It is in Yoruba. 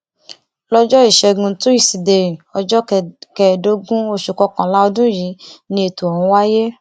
lọjọ ìṣẹgun tusidee ọjọ kẹẹẹdógún oṣù kọkànlá ọdún yìí ni ètò ọhún wáyé